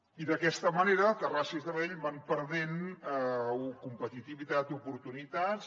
i d’aquesta manera terrassa i sabadell van perdent competitivitat i oportunitats